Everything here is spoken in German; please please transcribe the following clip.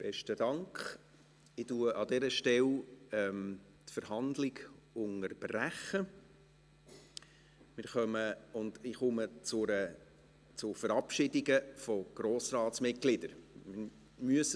Ich unterbreche an dieser Stelle die Verhandlung und komme zu Verabschiedungen von Grossratsmitgliedern.